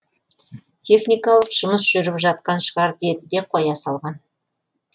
техникалық жұмыстар жүріп жатқан шығар деді де қоя салған